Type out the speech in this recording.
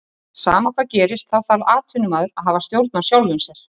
Sama hvað gerist þá þarf atvinnumaður að hafa stjórn á sjálfum sér.